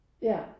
Ja